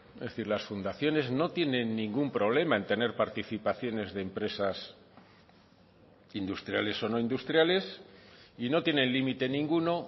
es decir las fundaciones no tienen ningún problema en tener participaciones de empresas industriales o no industriales y no tienen límite ninguno